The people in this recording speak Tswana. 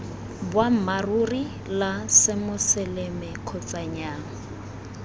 boammaaruri la semoseleme kgotsa nnyaa